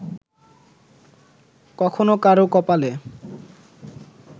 কখনো কারও কপালে